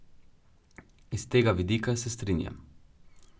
Iz tega vidika se strinjam.